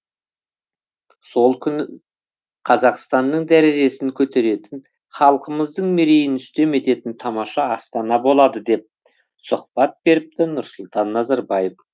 сол күні қазақстанның дәрежесін көтеретін халқымыздың мерейін үстем ететін тамаша астана болады деп сұхбат беріпті нұрсұлтан назарбаев